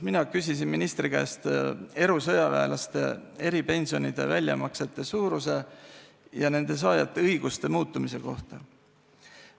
Mina küsisin ministri käest erusõjaväelaste eripensionide väljamaksete suuruse ja nende saajate õiguse muutumise kohta.